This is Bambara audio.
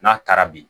N'a taara bi